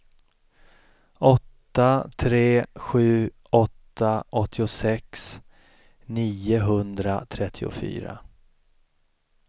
åtta tre sju åtta åttiosex niohundratrettiofyra